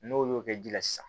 N'olu y'o kɛ ji la sisan